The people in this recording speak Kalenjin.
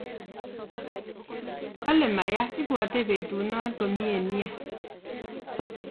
kale Maya ibwate petunan komyee nea